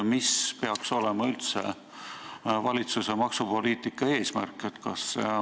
Mis ikkagi peaks olema valitsuse maksupoliitika eesmärk?